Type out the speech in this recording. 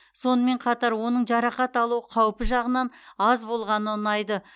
сонымен қатар оның жарақат алу қаупі жағынан аз болғаны ұнайды